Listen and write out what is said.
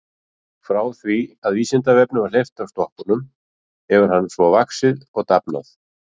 Frá því að Vísindavefnum var hleypt af stokkunum hefur hann svo vaxið og dafnað.